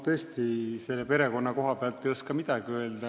Ma selle perekonna koha pealt ei oska tõesti midagi öelda.